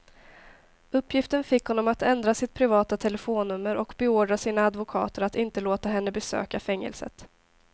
Uppgiften fick honom att ändra sitt privata telefonnummer och beordra sina advokater att inte låta henne besöka fängelset.